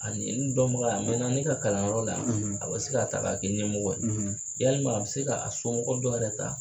Ani n dɔnbaga a mɛɛnna ne ka kalanyɔrɔ la, a bɛ se k'a ta k'a k'i ɲɛmɔgɔ ye, walima a bɛ se k'a somɔgɔw dɔ yɛrɛ ta